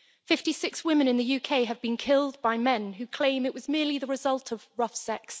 Fifty six women in the UK have been killed by men who claim it was merely the result of rough sex'.